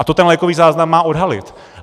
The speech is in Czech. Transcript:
A to ten lékový záznam má odhalit.